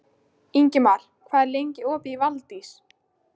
Ingimar, hvað er lengi opið í Valdís?